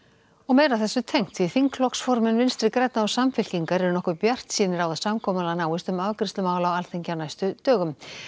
þingflokksformenn Vinstri grænna og Samfylkingar eru nokkuð bjartsýnir á að samkomulag náist um afgreiðslu mála á Alþingi á næstu dögum